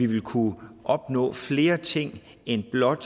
vil kunne opnå flere ting end blot